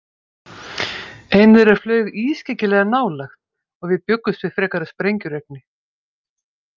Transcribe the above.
Ein þeirra flaug ískyggilega nálægt og við bjuggumst við frekara sprengjuregni.